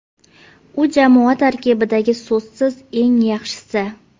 U jamoa tarkibidagi, so‘zsiz eng yaxshisi.